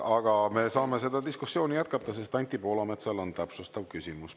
Aga me saame seda diskussiooni jätkata, sest Anti Poolametsal on täpsustav küsimus.